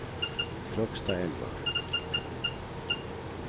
Krokstadelva